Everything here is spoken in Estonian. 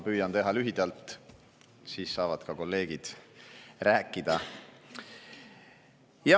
Ma püüan teha lühidalt, siis saavad ka kolleegid rääkida.